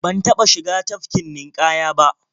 Ban taɓa shiga tafkin ninƙaya ba.